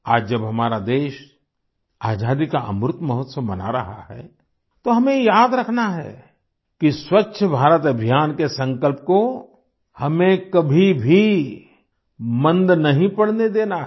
आज जब हमारा देश आजादी का अमृत महोत्सव मना रहा है तो हमें ये याद रखना है कि स्वच्छ भारत अभियान के संकल्प को हमें कभी भी मंद नहीं पड़ने देना है